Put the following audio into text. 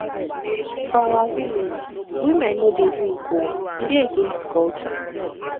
for our village women no dey drink oo e dey against culture